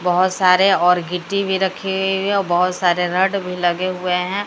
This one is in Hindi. बहोत सारे और गिट्टी भी रखे हैं बहोत सारे रड भी लगे हुए हैं।